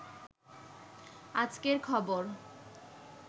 আজকের খবর